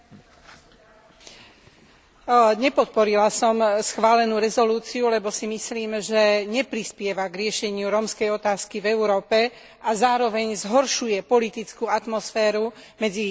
Nepodporila som schválenú rezolúciu, lebo si myslím, že neprispieva k riešeniu rómskej otázky v Európe a zároveň zhoršuje politickú atmosféru medzi jednotlivými štátmi Európskej únie.